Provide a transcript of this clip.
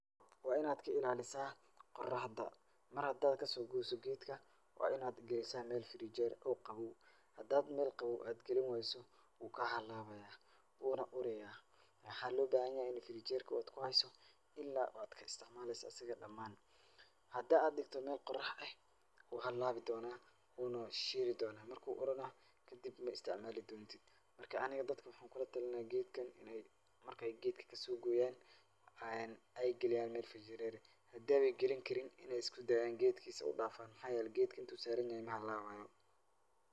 Waa in aad ka ilaa lisaa qoraxda mar hadaad ka soo goyso geedka, waa in aad gaysa meel firinjeer oo qabow .Hadaad meel qabow aad gelinwaayso, wuu kaa ha laabaaya, wuu na urayaa. Waxa loo bahinyahay in firinjeerka aad ku hayso ila aad ka istacmaalayso asig dhamaan. Hadaa aad dhikto meel qorax eh, wuu halaabi doonaa wuu na shiiri doonaa, marka uu urana, kadib ma istacmaali doontid. Marka, aniga dadka waxaan ku la talin lahaa geedkan marka ay geedka ka soo gooyaan, ay geliyaan meel firinjeer ah. Hadaaba gelin karin, in ay usku daayaan geedkiisa u dhaafan maxaa yeelay geedka inta uu saranyahay mahalaabaayo.